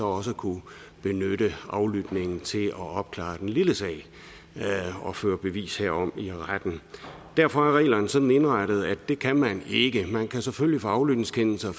også kunne benytte aflytningen til at opklare den lille sag og føre bevis herom i retten derfor er reglerne sådan indrettet at det kan man ikke man kan selvfølgelig få aflytningskendelser